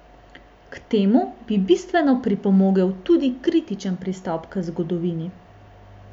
K temu bi bistveno pripomogel tudi kritični pristop k zgodovini.